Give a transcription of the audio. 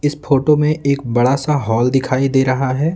इस फोटो में एक बड़ा सा हॉल दिखाई दे रहा है।